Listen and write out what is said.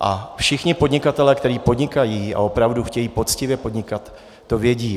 A všichni podnikatelé, kteří podnikají a opravdu chtějí poctivě podnikat, to vědí.